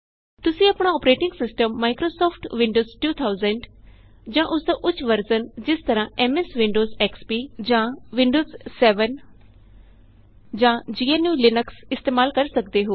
ਤੁਸੀਂ ਆਪਣਾ operating system Microsoft Windows 2000 ਜਾਂ ਉਸਦਾ ਉੱਚ ਵਰਜ਼ਨ ਜਿਸ ਤਰਹ ਐਮਐਸ ਵਿੰਡੋਜ਼ ਐਕਸਪੀ ਵਿੰਡੋਜ਼ 7 ਜਾਂ gnuਲਿਨਕਸ ਇਸਤੇਮਾਲ ਕਰ ਸਕਦੇ ਹੋ